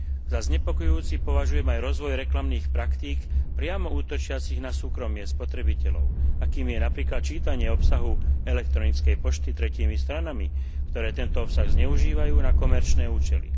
Za znepokojujúci považujem aj rozvoj reklamných praktík priamo útočiacich na súkromie spotrebiteľov, akými je napríklad čítanie obsahu elektronickej pošty tretími stranami, ktoré tento obsah zneužívajú na komerčné účely.